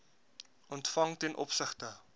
ontvang ten opsigte